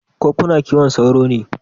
Ko kina kiwon sauro ne?